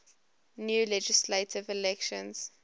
new legislative elections